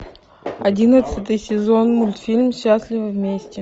одиннадцатый сезон мультфильм счастливы вместе